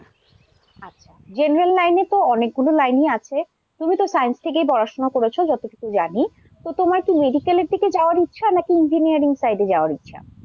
general line তো অনেকগুলো line ই আছে তুমি তো science থেকেই পড়াশোনা করেছ যতটুকু জানি তো তোমার কি medical এর দিকে যাওয়ার ইচ্ছা নাকি engineering side এ যাওয়ার ইচ্ছা।